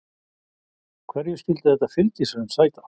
Hverju skyldi þetta fylgishrun sæta?